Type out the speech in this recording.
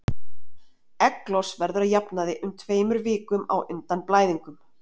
Egglos verður að jafnaði um tveimur vikum á undan blæðingum.